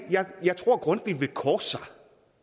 jeg tror grundtvig ville korse sig